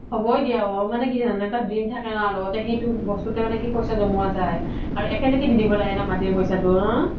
হ'বৈ দিয়া অ মানে কি জানানে এটা থাকে ন মানে কি সেই বস্তুত পইচা জ্মোৱা যাই আৰু একেলগে দি দিব লাগে ন মাতিৰ পইচাও